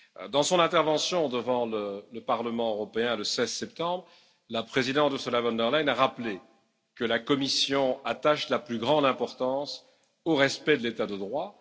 Dans son intervention devant le Parlement européen, le 16 septembre, la présidente Ursula von der Leyen, a rappelé que la Commission attache la plus grande importance au respect de l'état de droit.